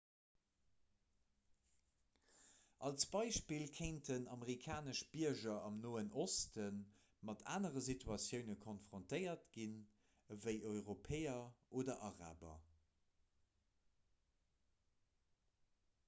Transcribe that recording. als beispill kéinten amerikanesch bierger am noen oste mat anere situatioune konfrontéiert ginn ewéi europäer oder araber